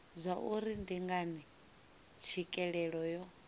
zwauri ndi ngani tswikelelo yo